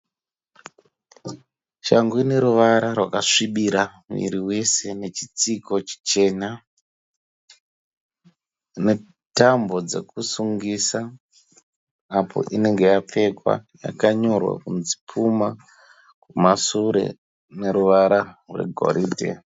Shangu ine ruvara rwakasvibira miri wese nechitsiko chitema netambo dzekusungisa apo inenge dzapfekwa. Yakanyorwa kunzi Puma kumashure neruvara rwegoridhe.